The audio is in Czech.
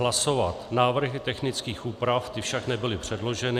Hlasovat návrhy technických úprav, ty však nebyly předloženy.